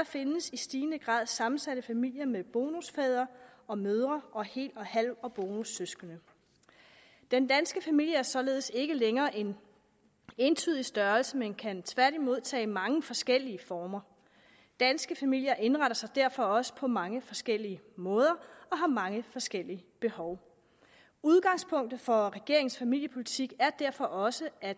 findes i stigende grad sammensatte familier med bonusfædre og mødre og hel halv og bonussøskende den danske familie er således ikke længere en entydig størrelse men kan tværtimod tage mange forskellige former danske familier indretter sig derfor også på mange forskellige måder og har mange forskellige behov udgangspunktet for regeringens familiepolitik er derfor også at